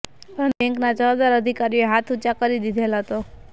પરંતુ બેંકનાં જવાબદાર અધિકારીઓએ હાથ ઉંચા કરી દીધેલ હતો